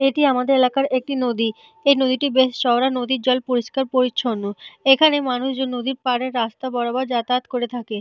এটি আমাদের এলাকার একটি নদী। এই নদীটি বেশ চওড়া। নদীর জল পরিষ্কার পরিছন্ন। এখানে মানুষজন নদীর পারে রাস্তা বরাবর যাতায়াত করে থাকেন।